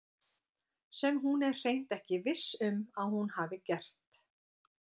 Sem hún er hreint ekki viss um að hún hafi gert.